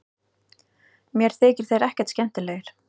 Mér þykja þeir ekkert skemmtilegir